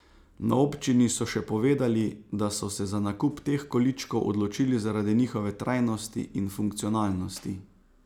Na občini so še povedali, da so se za nakup teh količkov odločili zaradi njihove trajnosti in funkcionalnosti.